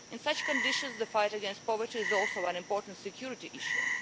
In such conditions the fight against poverty is also an important security issue.